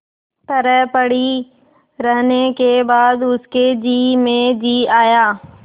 तरह पड़ी रहने के बाद उसके जी में जी आया